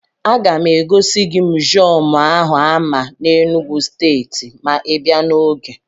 A ga m egosi gị mụziọmụ áhù a àmá n'Enugwu stééti, ma ibiá n'ogè